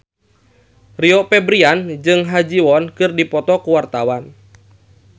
Rio Febrian jeung Ha Ji Won keur dipoto ku wartawan